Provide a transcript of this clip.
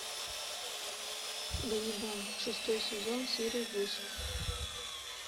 ганнибал шестой сезон серия восемь